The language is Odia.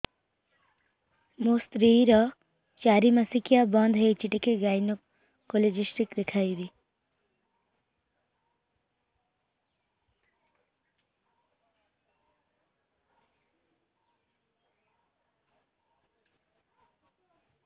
ମୋ ସ୍ତ୍ରୀ ର ଚାରି ମାସ ମାସିକିଆ ବନ୍ଦ ହେଇଛି ଟିକେ ଗାଇନେକୋଲୋଜିଷ୍ଟ ଦେଖେଇବି